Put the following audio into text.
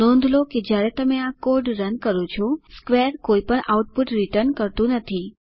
નોંધ લો કે જયારે તમે આ કોડ રન કરો છો સ્ક્વેર કોઈ પણ આઉટપુટ રીટર્ન કરતું નથી